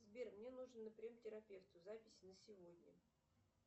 сбер мне нужно на прием к терапевту запись на сегодня